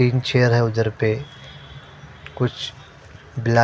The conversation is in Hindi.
कुछ बले--